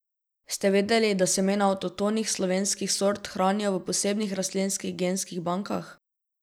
Ste vedeli, da semena avtohtonih slovenskih sort hranijo v posebnih rastlinskih genskih bankah?